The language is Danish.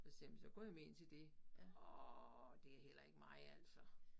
Så siger jeg jamen så går jeg med ind til det. Åh det heller ikke mig altså